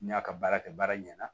N'i y'a ka baara kɛ baara ɲɛna